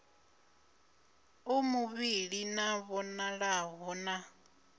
a muvhili a vhonalaho na